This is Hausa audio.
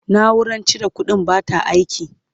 naurar cire ƙuɗin bata aiki